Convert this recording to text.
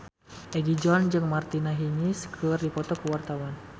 Egi John jeung Martina Hingis keur dipoto ku wartawan